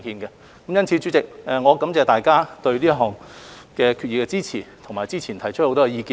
因此，主席，我感謝大家對這項決議案的支持，以及早前提出的很多意見。